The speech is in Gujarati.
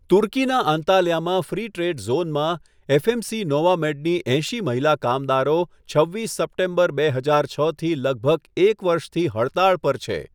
તુર્કીના અંતાલ્યામાં ફ્રી ટ્રેડ ઝોનમાં, એફએમસી નોવામેડની એંશી મહિલા કામદારો છવ્વીસ સપ્ટેમ્બર, બે હજાર છથી લગભગ એક વર્ષથી હડતાળ પર છે.